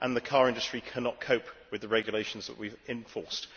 The car industry cannot cope with the regulations that we have enforced.